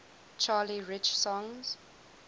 charlie rich songs